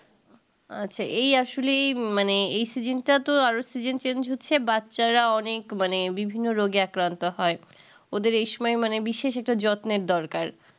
আচ্ছা এই আসলে এই মানে এই season টা তো আরো seasonchange হচ্ছে বাচ্চারা অনেক মানে বিভিন্ন রোগে আক্রান্ত হয় ওদের এইসময় মানে বিশেষিত যত্নের দরকার